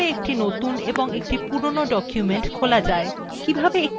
কিভাবে একটি নতুন এবং একটি পুরনো document খোলা যায়